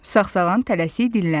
Sağsağan tələsik dilləndi.